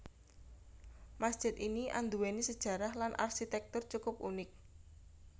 Masjid ini andhuwéni sejarah lan arsitektur cukup unik